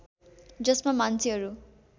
जसमा मान्छेहरू